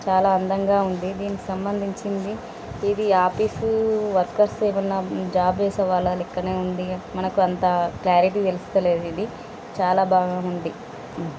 చాలా అందంగా ఉంది దీనికి సంబంధించిది ఇది ఆఫీస్ వర్కర్స్ ఎదిన జాబు చేసేవాళ్ళ లెక్కనే ఉంది. మనకు అంత క్లారిటీ తెలుస్తలేదు ఇది చాలా బాగ ఉంది.